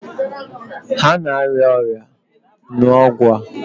Ha na-arịa ọrịa, ṅụọ ọgwụ a!